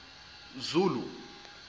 zulu